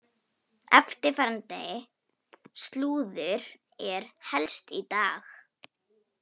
Eftirfarandi slúður er helst í dag: